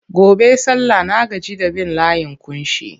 Gobe sallah na gaji da bin layin ƙunshi.